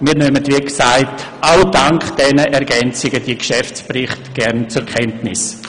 Wir nehmen wie gesagt gerade auch wegen diesen Ergänzungen diese Geschäftsberichte gern zur Kenntnis.